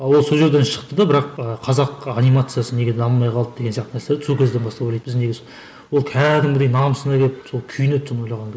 ал ол сол жерден шықты да бірақ ы қазақ анимациясы неге дамымай қалды деген сияқты нәрселер сол кезден бастап ойлайды біз неге осы ол кәдімгідей намысына келіп сол күйінеді соны ойлағанда